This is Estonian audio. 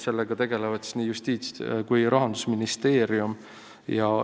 Sellega tegelevad justiits- ja rahandusministeerium.